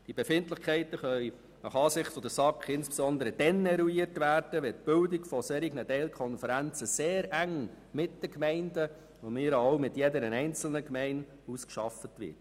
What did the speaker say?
Die Befindlichkeiten können gemäss SAK insbesondere dann eruiert werden, wenn die Bildung von solchen Teilkonferenzen sehr eng mit den Gemeinden, und von mir aus auch mit einzelnen Gemeinden, ausgearbeitet wird.